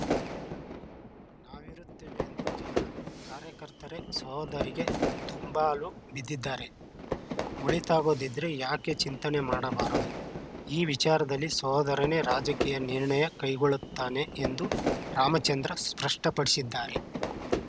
ನಾವಿರುತ್ತೇವೆ ಎಂದು ಜನ ಕಾರ್ಯಕರ್ತರೇ ಸಹೋದರಿಗೆ ದುಂಬಾಲು ಬಿದ್ದಿದ್ದಾರೆ ಒಳಿತಾಗೋದಿದ್ರೆ ಯಾಕೆ ಚಿಂತನೆ ಮಾಡಬಾರದು ಈ ವಿಚಾರದಲ್ಲಿ ಸಹೋದರನೇ ರಾಜಕೀಯ ನಿರ್ಣಯ ಕೈಗೊಳ್ಳುತಾನೆ ಎಂದು ರಾಮಚಂದ್ರ ಸ್ಪಷ್ಟಪಡಿಸಿದ್ದಾರೆ